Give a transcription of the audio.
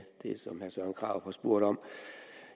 det som herre søren krarup har spurgt om